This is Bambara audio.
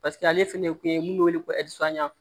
Paseke ale fɛnɛ ye kun ye mun be wele ko